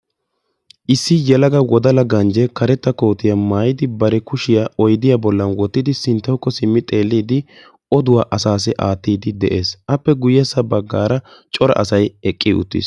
issi yelaga wodala ganje oduwa assayo gattidi beettessi aappekka guyessara corra assati eqidagetti beettosona.